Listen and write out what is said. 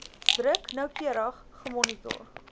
druk noukeurig gemonitor